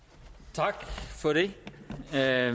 tak så er